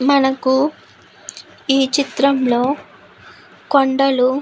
మనకు ఈ చిత్రంలో కొండలు --